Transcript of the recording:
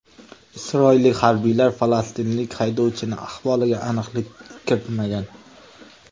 Isroillik harbiylar falastinlik haydovchining ahvoliga aniqlik kiritmagan.